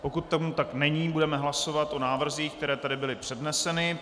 Pokud tomu tak není, budeme hlasovat o návrzích, které tady byly předneseny.